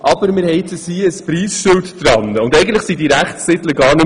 Aber wir haben zumindest ein «Preisschild» an diese Rechtstitel heften können.